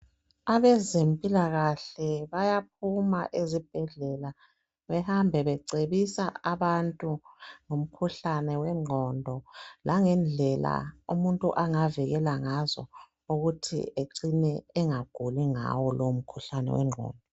Abezempilakahle bayaphuma ezibhedlela behambe becebisa abantu ngomkhuhlane wengqondo langendlela umuntu angavikela ngazo ukuthi ecine engaguli ngawo lowo mkhuhlane wengqondo.